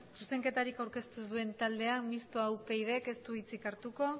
zuzenketarik aurkeztu ez duen taldea mistoa upydk ez du hitzik hartuko